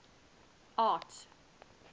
art